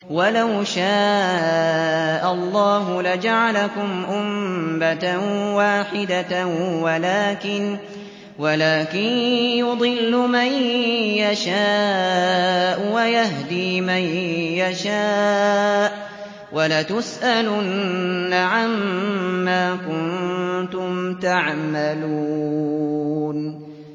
وَلَوْ شَاءَ اللَّهُ لَجَعَلَكُمْ أُمَّةً وَاحِدَةً وَلَٰكِن يُضِلُّ مَن يَشَاءُ وَيَهْدِي مَن يَشَاءُ ۚ وَلَتُسْأَلُنَّ عَمَّا كُنتُمْ تَعْمَلُونَ